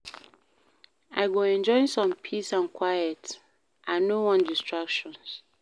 I go enjoy some peace and quiet I no wan distractions.